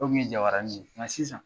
O tun ye jabaranin ye nka sisan